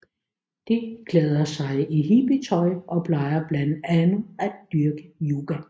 De klæder sig i hippietøj og plejer blandt andet at dyrke yoga